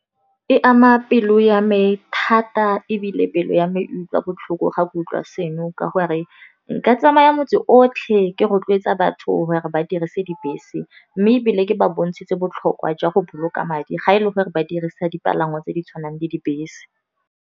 E ama pelo ya me thata ebile pelo ya me utlwa botlhoko ga kutlwa seno, ka gore nka tsamaya motse otlhe ke rotloetsa batho gore ba dirise dibese. Mme ebile ke ba bontshitse botlhokwa jwa go boloka madi, ga e le gore ba dirisa dipalangwa tse di tshwanang le dibese.